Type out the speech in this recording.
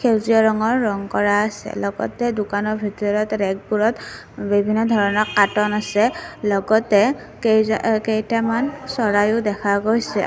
সেউজীয়া ৰঙৰ ৰং কৰা আছে লগতে দোকানৰ ভিতৰত ৰেকবোৰত বিভিন্ন ধৰণৰ কাৰ্টুন আছে লগতে কেই কেইটামান চৰাইও দেখা গৈছে।